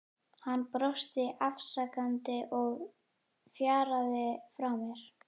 Hann brosti afsakandi og fjaraði frá mér.